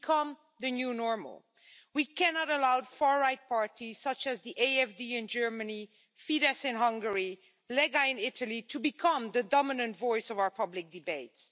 to become the new normal. We cannot allow far right parties, such as the AFD in Germany, Fidesz in Hungary, Lega in Italy, to become the dominant voice of our public debates.